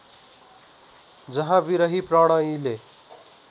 जहाँ विरही प्रणयीले